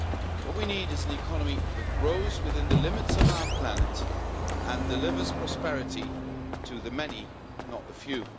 What we need is an economy that grows within the limits of our planet and delivers prosperity to the many, not the few.